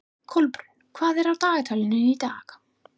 Kolbrún, hvað er í dagatalinu í dag?